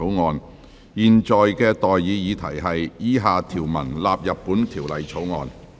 我現在向各位提出的待議議題是：以下條文納入本條例草案。